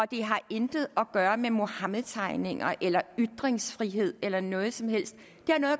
det har intet at gøre med muhammedtegninger eller ytringsfrihed eller noget som helst